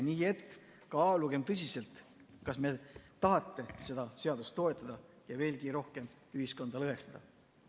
Nii et kaalugem tõsiselt, kas me tahame seda toetada ja veelgi rohkem ühiskonda lõhestada!